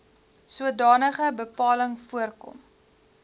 sodanige bepaling voorkom